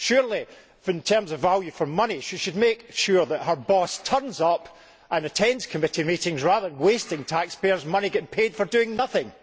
Surely, in terms of value for money, she should make sure that her boss turns up and attends committee meetings rather than wasting taxpayers' money getting paid for doing nothing.